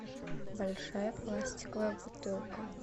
большая пластиковая бутылка